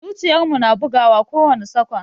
Zuciyar mu na bugawa kowani sakwan.